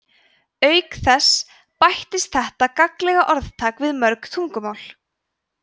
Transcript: auk þess bættist þetta gagnlega orðtak við mörg tungumál